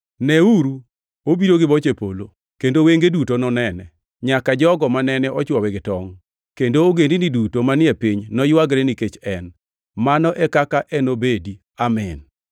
“Neuru, obiro gi boche polo,” + 1:7 \+xt Dan 7:13\+xt* kendo “wenge duto nonene, nyaka jogo mane ochwowe gi tongʼ”; kendo ogendini duto “manie piny noywagre nikech en.” + 1:7 \+xt Zek 12:10\+xt* Mano e kaka enobedi! Amin.